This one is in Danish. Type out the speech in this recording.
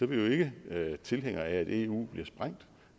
vi ikke tilhængere af at eu bliver sprængt